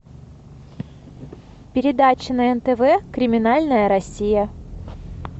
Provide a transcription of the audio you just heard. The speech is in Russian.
передача на нтв криминальная россия